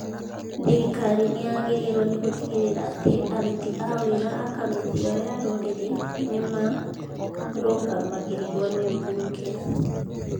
Thirikari nĩ yagĩrĩirwo nĩ gũtigĩrĩra atĩ aruti a wĩra a kamĩtĩ ĩyo ya rũrĩrĩ nĩ marũngamagĩrĩrwo nĩ mbunge.